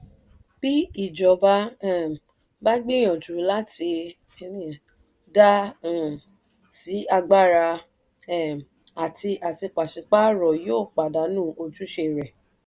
bí ìjọba um bá gbìyànjú láti dá um sí agbára um àti àti pàṣípààrọ̀ yóò pàdánù ojúṣe rẹ̀.